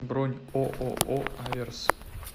бронь ооо аверс